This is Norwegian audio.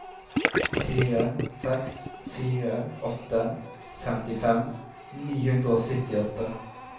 fire seks fire åtte femtifem ni hundre og syttiåtte